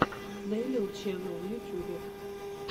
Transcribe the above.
нелил ченел в ютюбе